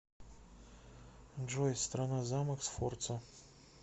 джой страна замок сфорца